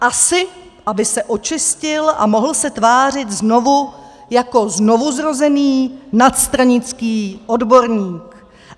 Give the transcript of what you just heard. Asi aby se očistil a mohl se tvářit znovu jako znovuzrozený, nadstranický odborník.